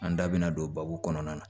An da bɛna don babu kɔnɔna na